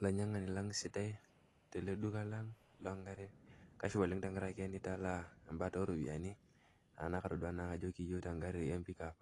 Olainyiang'ani lang' sidai teele duka lang', kashipa oleng' tentiaraki nitalaa embata oropiyiani, enaa kitoduaa naake aajo iyieuta egari ee pick up